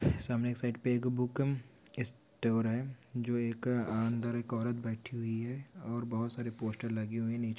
इस साइड पर एक बुक स्टोर है जो एक अंदर एक औरत बैठी हुई हैऔर बहुत सारे पोस्टर लगी हुई निचे--